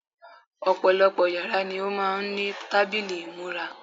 Ọ̀pọ̀lọpọ̀ yàrá ni ó máà ń ní tábìlì ìmúra.